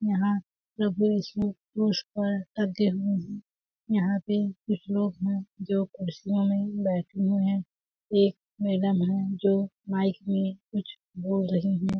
यहाँ पे प्रभु यीशु क्रूस पर टंगे हुए है यहाँ पे कुछ लोग है जो कुर्सियों में बैठे हुए है एक मैडम है जो माइक बोल रही है।